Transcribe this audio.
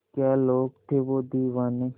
क्या लोग थे वो दीवाने